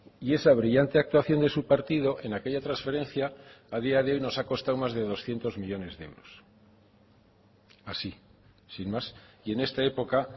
y esa brillante actuación de su partido en aquella transferencia a día de hoy nos ha costado más de doscientos millónes de euros así sin más y en esta época